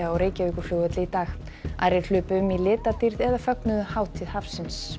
á Reykjavíkurflugvelli í dag aðrir hlupu um í litadýrð eða fögnuðu hátíð hafsins